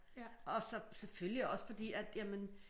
Og så selvfølgelig også fordi at jamen